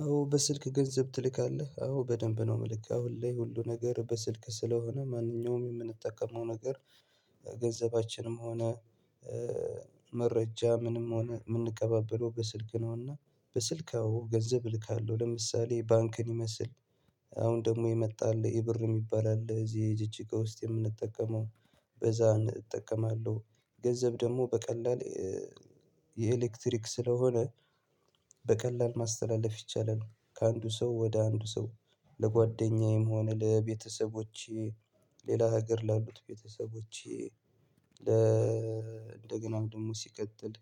አዎ በስልክ ገንዘብ ትልካለህ አዎ በደንብ ነው ምልክ አሁን ላይ ሁሉ ነገር በስልክ ስለሆነ ማንኛውም የምንጠቀመው ነገር ገንዘባችንም ሆነ መረጃ ምንም ሆነ ምንቀባብለው በስልክ ነውና በስልክ አዎ ገንዘብ እልካለሁ ለምሳሌ ባንክን ይመስል አሁን ደሞ የመጣ አለ ኢብር ሚባል አለ እዚህ ጅጅጋ ውስጥ የምንጠቀመው በዛ እጠቀማለሁ ገንዘብ ደሞ በቀላል የኤሌክትሪክ ስለሆነ በቀላል ማስተላለፍ ይቻላል ከአንዱ ሰው ወደ አንዱ ሰው ለጓደኛዬም ሆነ ለቤተሰቦቼ ሌላ ሀገር ላሉት ቤተሰቦቼ ለ እንደገና ደግሞ ሲቀጥል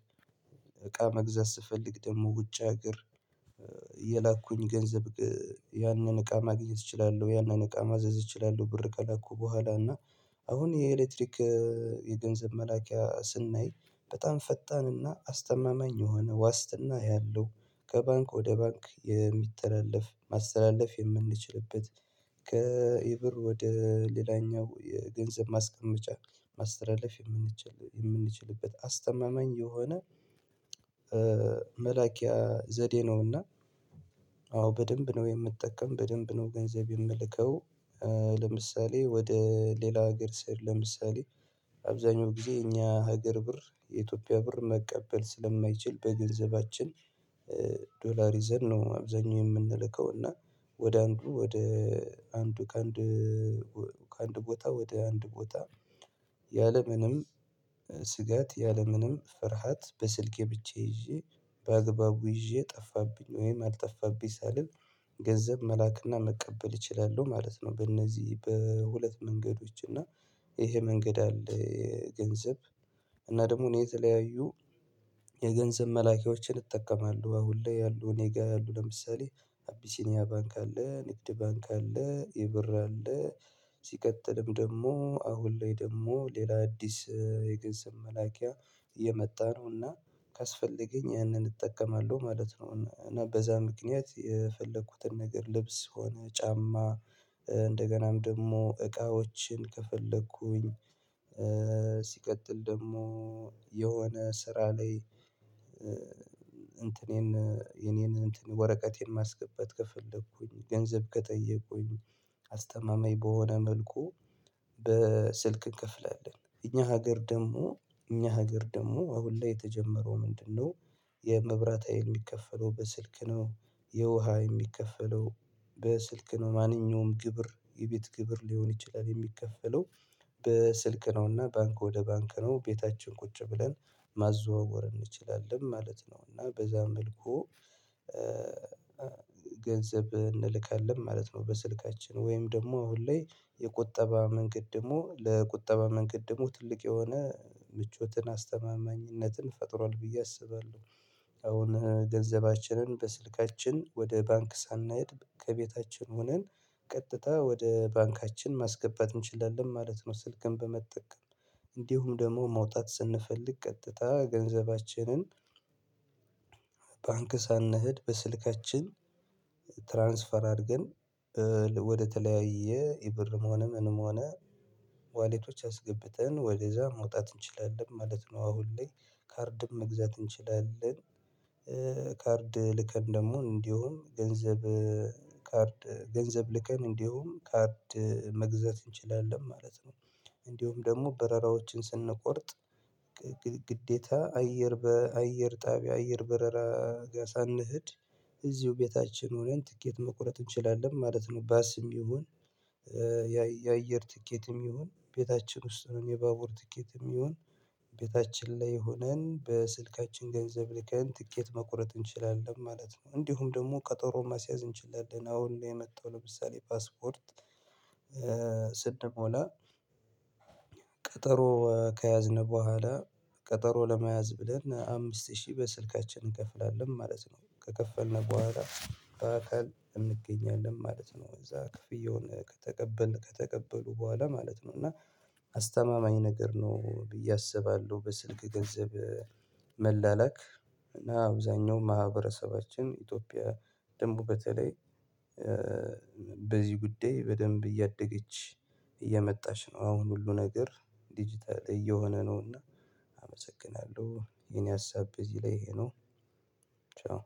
እቃ መግዛት ስፈልግ ደሞ ውጭ ሀገር የላኩን ገንዘብ ያን እቃ ማግኘት እችላለሁ ያነን እቃ ማዘዝ እችላለሁ ብር ከላኩ በኋላ እና አሁን የኤለክትሪክ የገንዘብ መላኪያ ስናይ በጣም ፈጣን እና አስተማማኝ የሆነ ዋስትና ያለው ከባንክ ወደ ባንክ የሚተላለፍ ማስተላለፍ የምንችልበት ከ ኢብር ወደ ሌላኛው የገንዘብ ማስቀመጫ ማስተላለፍ የምንችል የምንችልበት አስተማማኝ የሆነ መላኪያ ዘዴ ነውና አዎ በደንብ ነው የምጠቀም በደንብ ነው ገንዘብ የምልከው ለምሳሌ ወደ ሌላ ሀገር ስሄድ ለምሳሌ አብዛኛው ጊዜ እኛ ሀገር ብር የኢትዮጵያ ብር መቀበል ስለማይችል በገንዘባችን ዶላር ይዘን ነው አብዛኛው የምንልከው እና ወደ አንዱ ወደ አንዱ ከአንድ ወ ከአንድ ቦታ ወደ አንድ ቦታ ያለምንም ስጋት ያለምንም ፍርሃት በስልኬ ብቻ ይዤ በአግባቡ ይዤ ጠፋብኝ ወይም አልጠፋብኝ ሳልል ገንዘብ መላክና መቀበል እችላለሁ ማለት ነው በእነዚህ በሁለት መንገዶች እና ይሄ መንገድ አለ የገንዘብ እና ደግሞ እኔ የተለያዩ የገንዘብ መላኪያዎችን እጠቀማለሁ አሁን ላይ ያሉ እኔ ጋ ያሉ ለምሳሌ አቢሲኒያ ባንክ አለ ንግድ ባንክ አለ ኢብር አለ ሲቀጥልም ደሞ አሁን ላይ ደሞ ሌላ አዲስ የገንዘብ መላኪያ እየመጣ ነውና ካስፈለገኝ ያነን እጠቀማለሁ ማለት ነው። እና በዛ ምክንያት የፈለኩትን ነገር ልብስ ሆነ ጫማ እንደገናም ደሞ እቃዎችን ከፈለኩኝ ሲቀጥል ደሞ የሆነ ስራ ላይ እንትኔን የኔን ወረቀቴን ማስገባት ከፈለኩኝ ገንዘብ ከጠየቁኝ አስተማማኝ በሆነ መልኩ በስልክ እንከፍላለን እኛ ሀገር ደሞ እኛ ሀገር ደሞ አሁን ላይ የተጀመረው ምንድነው የመብራት ሀይል የሚከፈለው በስልክ ነው የውሃ የሚከፈለው በስልክ ነው ማንኛውም ግብር የቤት ግብር ሊሆን ይችላል የሚከፈለው በስልክ ነው እና ባንክ ወደ ባንክ ነው ቤታችን ቁጭ ብለን ማዘዋወር እንችላለን ማለት ነው እና በዛ መልኩ ገንዘብ እንልካለን ማለት ነው በስልካችን ወይም ደሞ አሁን ላይ የቁጠባ መንገድ ደሞ ለቁጠባ መንገድ ደግሞ ትልቅ የሆነ ምቾትን አስተማማኝነትን ፈጥሯል ብዬ አስባለሁ አሁን ገንዘባችንን በስልካችን ወደ ባንክ ሳናይድ ከቤታችን ሆነን ቀጥታ ወደ ባንካችን ማስገባት እንችላለን ማለት ነው ስልክን በመጠቀም እንዲሁም ደሞ ማውጣት ስንፈልግ ቀጥታ ገንዘባችንን ባንክ ሳንሄድ በስልካችን ትራንስፈር አርገን ወደተለያየ ኢብርም ምንም ምንም ሆነ ዋሌቶች አስገብተን ወደዛ ማውጣት እንችላለን ማለት ነው አሁን ላይ ካርድም መግዛት እንችላለን ካርድ ልከን ደሞ እንዲሁም ገንዘብ ካርድ ገንዘብ ልከን እንዲሁም ካርድ መግዛት እንችላለን ማለት ነው እንዲሁም ደሞ በረራዎችን ስንቆርጥ ግዴታ አየር በአየር ጣቢያ አየር በረራ ጋ ሳንሄድ እዚሁ ቤታችን ሆነን ትኬት መቁረጥ እንችላለን ማለት ነው ባስም ይሁን ያየ ያአየር ትኬትም ይሁን ቤታችን ውስጥ የባቡር ትኬትም ይሁን ቤታችን ላይ ሆነን በስልካችን ገንዘብ ልከን ትኬት መቁረጥ እንችላለን ማለት ነው እንዲሁም ደሞ ቀጠሮ ማስያዝ እንችላለን አሁን የመጣው ለምሳሌ ፓስፖርት ስንሞላ ቀጠሮ ከያዝነ በኋላ ቀጠሮ ለመያዝ ብለን አምስት ሺህ በስልካችን እንከፍላለን ማለት ነው ከከፈልነ በኋላ በአካል እንገኛለን ማለት ነው እዛ ክፍያውን ከተቀበል ከተቀበሉ በኋላ ማለት ነው እና አስተማማኝ ነገር ነው ብዬ አስባለሁ በስልክ ገንዘብ መላላክ እና አብዛኛው ማህበረሰባችን ኢትዮጵያ ደንቡ በተለይ በዚህ ጉዳይ በደንብ እያደገች እየመጣሽ ነው አሁን ሁሉ ነገር ዲጂታል እየሆነ ነውና አመሰግናለሁ የኔ ሀሳብ እዚህ ላይ ይሄ ነው ቻው